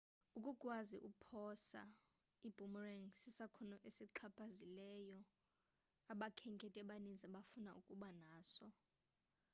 ukukwazi ukuphosa i-boomerang sisakhono esixhaphakileyo abakhenkethi abaninzi abafuna ukuba naso